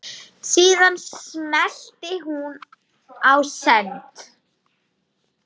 Síðan smellti hún á send.